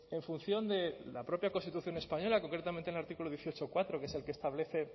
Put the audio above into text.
en función de la propia constitución española concretamente en el artículo dieciocho punto cuatro que es el que establece en